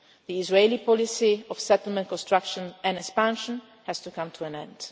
to violence. The Israeli policy of settlement construction and expansion has to come